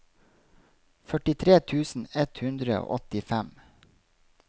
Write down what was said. førtitre tusen ett hundre og åttifem